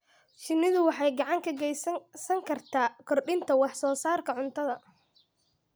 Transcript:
Shinnidu waxay gacan ka geysan kartaa kordhinta wax-soo-saarka cuntada.